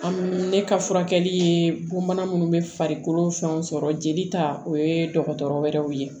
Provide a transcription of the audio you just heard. An ne ka furakɛli ye bonbana minnu bɛ farikolo fɛnw sɔrɔ jeli ta o ye dɔgɔtɔrɔ wɛrɛw ye